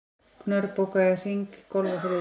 Knörr, bókaðu hring í golf á þriðjudaginn.